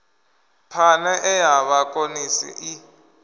phane e ya vhakonesi i